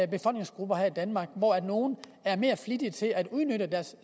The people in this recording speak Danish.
befolkningsgrupper her i danmark hvoraf nogle er mere flittige til at udnytte deres